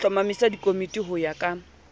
hlomamisa dikomiti ho ya ka